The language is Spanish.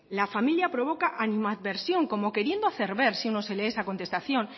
la familia provoca animadversión como queriendo hacer ver si uno se lee esa contestación